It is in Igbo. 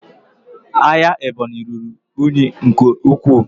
Ahịa Ebonyi ruru unyi nke ukwuu